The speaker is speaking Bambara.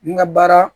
N ka baara